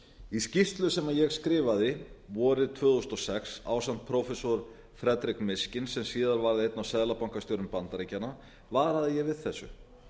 í skýrslu sem ég skrifaði vorið tvö þúsund og sex ásamt prófessor frederic mishkin sem síðar varð einn af seðlabankastjórum bandaríkjanna varaði ég við þessu